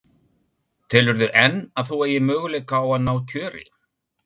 Telurðu enn að þú eigir möguleika á að ná kjöri?